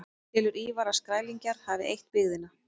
Telur Ívar að Skrælingjar hafi eytt byggðina.